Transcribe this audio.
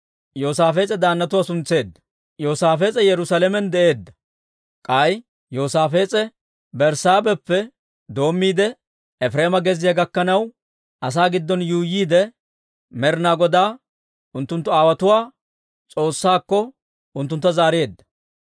Yoosaafees'e Yerusaalamen de'eedda. K'ay Yoosaafees'e Berssaabeheppe doommiide, Efireema gezziyaa gakkanaw, asaa giddon yuuyyiide, Med'inaa Godaa, unttunttu aawotuwaa S'oossaakko, unttuntta zaareedda.